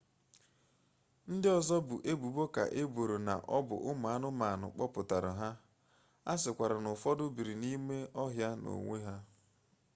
ndị ọzọ bụ ebubo ka eboro n'ọbụ ụmụ anụmanụ kpọpụtara ha a sịkwara n'ụfọdụ biri n'ime ọhịa na onwe ha